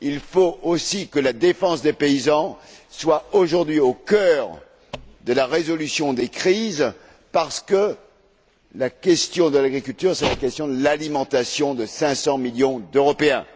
Il faut aussi que la défense des paysans soit aujourd'hui au cœur de la résolution des crises, parce que la question de l'agriculture, c'est la question de l'alimentation de 500 millions d'Européens!